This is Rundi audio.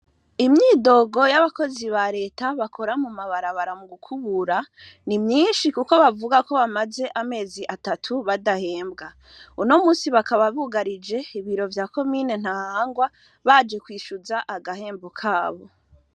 Imyidogo y'abakozi ba leta bakora mu mabara bara mu gukubura ni myinshi, kuko bavuga ko bamaze amezi atatu badahembwa uno musi bakaba bugarije ibiro vya ko mine ntangwa baje kwishuza agahembu kabo.